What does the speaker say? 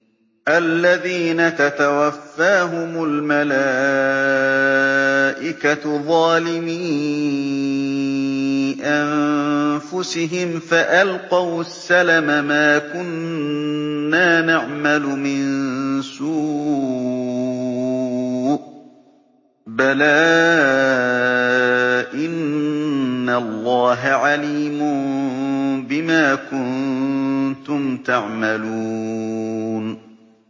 الَّذِينَ تَتَوَفَّاهُمُ الْمَلَائِكَةُ ظَالِمِي أَنفُسِهِمْ ۖ فَأَلْقَوُا السَّلَمَ مَا كُنَّا نَعْمَلُ مِن سُوءٍ ۚ بَلَىٰ إِنَّ اللَّهَ عَلِيمٌ بِمَا كُنتُمْ تَعْمَلُونَ